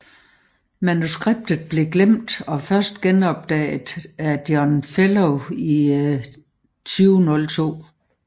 Manuskriptet blev glemt og først genopdaget af John Fellow i 2002